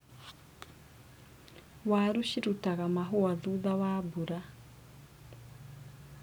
Waru ciaruta mahũa thutha wa mbura.